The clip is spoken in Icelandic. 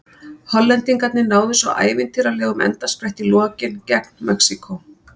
Hollendingarnir náðu svo ævintýralegum endaspretti í lokin gegn Mexíkó.